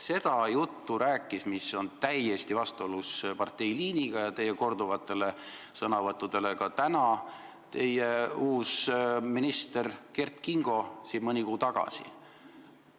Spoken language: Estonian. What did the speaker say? " Seda juttu, mis on täiesti vastuolus partei liiniga ja teie korduvate sõnavõttudega ka täna, rääkis teie erakonna uus minister Kert Kingo siin mõni kuu tagasi.